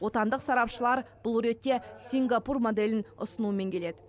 отандық сарапшылар бұл ретте сингапур моделін ұсынумен келеді